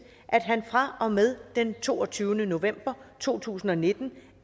at han fra og med den toogtyvende november to tusind og nitten